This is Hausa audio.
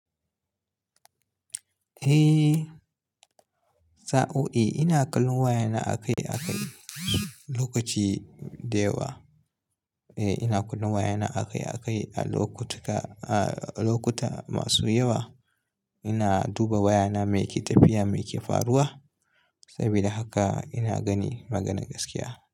Eh, sa'o'i ina kallon wayana a kai a kai lokaci dayawa. Eh, ina kallon wayana a kai a kai a lokutuka-- a lokuta masu yawa. Ina duba wayana me ke tafiya, me ke faruwa. Sabida haka ina gani maganan gaskiya.